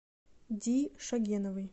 ди шогеновой